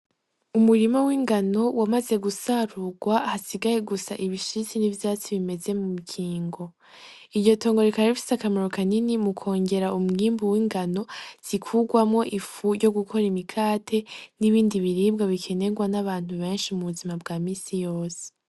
Umurima w'ingano wamaze gusarurwa, hasigaye gusa ibishitse n'ivyatsi bimeze mu mukingo. Iryo tongo rikaba rifise akamaro kanini mu kwongera umwimbu w'ingano zikugwamwo ifu ryo gukora imikate n'ibindi biribwa bikenerwa n'abantu benshi mu buzima bwa misi yose.